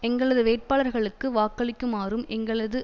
எங்களது வேட்பாளர்களுக்கு வாக்களிக்குமாறும் எங்களது